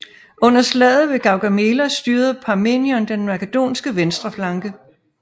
Under slaget ved Gaugamela styrede Parmenion den makedonske venstre flanke